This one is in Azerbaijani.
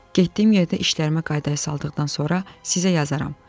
Getdiyim yerdə işlərimi qaydaya saldıqdan sonra sizə yazaram.